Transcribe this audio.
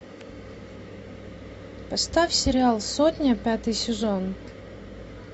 поставь сериал сотня пятый сезон